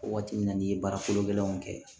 Waati min na n'i ye baara kolo gɛlɛnw kɛ